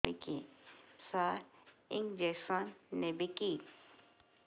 ସାର injection ନେବିକି